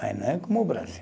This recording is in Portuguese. Mas não é como o Brasil.